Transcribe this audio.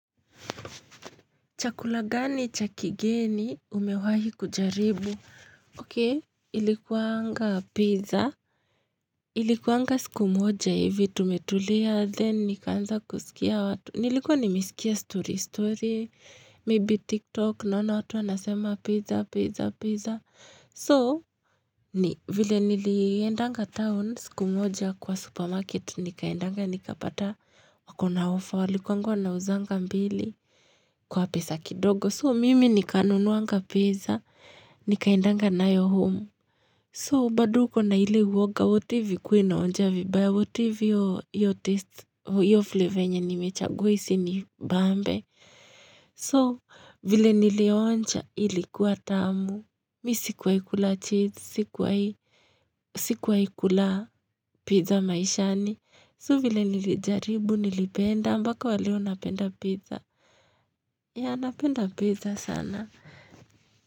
Chakula gani cha kigeni umewahi kujaribu? Okei, ilikuanga pizza. Ilikuanga siku moja ivi tumetulia. Then nikaanza kuskia watu. Nilikuwa nimeskia story story. Maybe TikTok. Naona watu wanasema pizza, pizza, pizza. So, ni vile niliendanga town siku moja kwa supermarket. Nikaendanga, nikapata. Wakona offer walikuanga wanauzanga mbili. Kwa pesa kidogo. So mimi nikanunuanga pizza, nikaendanga nayo home. So bado ukona ile uoga, what if ikue inaonja vibaya, what if iyo flavor nimechagua isinibambe. So vile nilionja ilikuwa tamu. Mi sikuwai kula cheese, sikuwai kula pizza maishani. So vile nilijaribu, nilipenda, mpaka wa leo napenda pizza. Yeah napenda pizza sana.